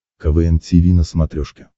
квн тиви на смотрешке